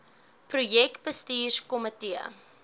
projek bestuurs komitee